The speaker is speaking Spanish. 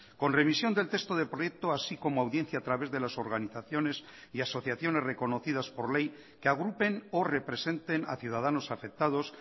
con revisión del texto de proyecto así como audiencia a través de las organizaciones y asociaciones reconocidas por ley que agrupen o representen a ciudadanos afectados